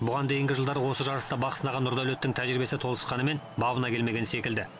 бұған дейінгі жылдары осы жарыста бақ сынаған нұрдәулеттің тәжірибесі толысқанымен бабына келмеген секілді